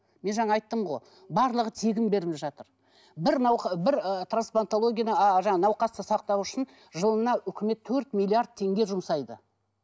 мен жаңа айттым ғой барлығы тегін беріліп жатыр бір бір ы трансплантологияны жаңа науқасты сақтау үшін жылына үкімет төрт миллиард теңге жұмсайды